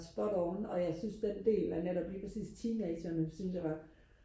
spot on og jeg synes det del af netop lige præcis teenagerne synes jeg var